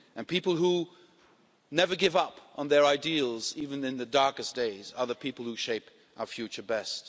People who never give up on their ideals, even in the darkest days, are the people who shape our future best.